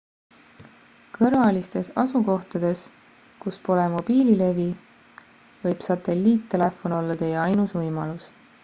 kõrvalistes asukohtades kus pole mobiililevi võib satelliittelefon olla teie ainus võimalus